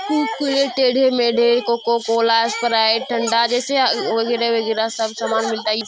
कुरकुरे टेढ़े मेढ़े Coca Cola Sprite ठंडा जैसे वगेरह वगेरह सब सामान मिलता है।